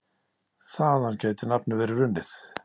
Þaðan gæti nafnið verið runnið.